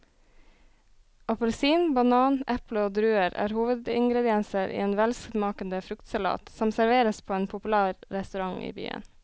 Appelsin, banan, eple og druer er hovedingredienser i en velsmakende fruktsalat som serveres på en populær restaurant i byen.